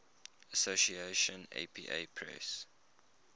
association apa press